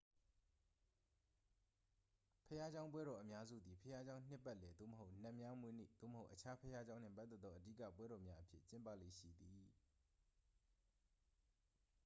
ဘုရားကျောင်းပွဲတော်အများစုသည် ဘုရားကျောင်း နှစ်ပတ်လည်သို့မဟုတ် နတ်များမွေးနေ့ သို့မဟုတ် အခြားဘုရားကျောင်းနှင့်ပတ်သက်သော အဓိက ပွဲတော်များအဖြစ်ကျင်းပလေ့ရှိသည်